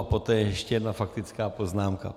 A poté ještě jedna faktická poznámka.